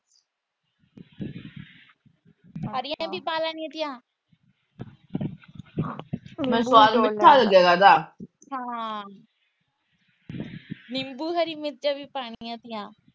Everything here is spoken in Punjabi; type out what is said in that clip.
ਹਰੀਆਂ ਵੀ ਪਾ ਲੈਣੀਆਂ ਤੀਆ। ਨਿੰਬੂ ਹਰੀਆਂ ਮਿਰਚਾਂ ਵੀ ਪਾਣੀਆਂ ਤੀਆ।